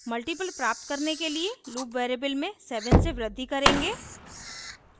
multiples प्राप्त करने के लिए loop variable में 7 से वृद्धि करेंगे